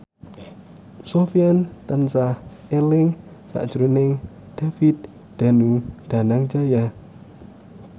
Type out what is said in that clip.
Sofyan tansah eling sakjroning David Danu Danangjaya